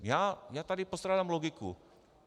Já tady postrádám logiku.